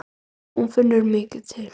Hún finnur mikið til.